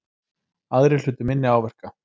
Aðrir hlutu minni áverka